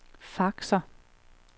faxer